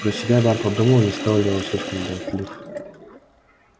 про себя бар подумал не стал ли он слишком болтлив